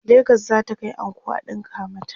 legas zata Kai anko a ɗinka mata